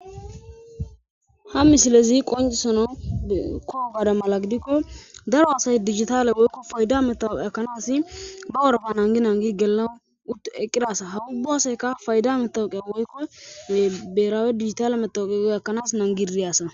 Ha missilezi qonccisanaw ko''o mala giddiko daro asayi dijitalle woyikko payidda metawoqa ekanasi ba worropa nagi nagi gellanaw utti eqida asa ha ubba asayikka payidda metawoqa woyikko biherawe dijitalle metaweqa giyoga ekkanaws nangidi diya asa.